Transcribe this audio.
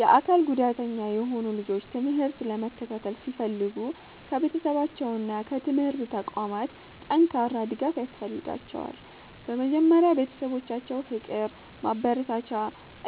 የአካል ጉዳተኛ የሆኑ ልጆች ትምህርት ለመከታተል ሲፈልጉ ከቤተሰባቸውና ከትምህርት ተቋማት ጠንካራ ድጋፍ ያስፈልጋቸዋል። በመጀመሪያ ቤተሰቦቻቸው ፍቅር፣ ማበረታቻ